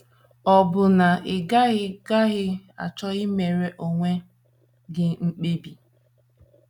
Ọ̀ bụ na ị gaghị gaghị achọ imere onwe gị mkpebi?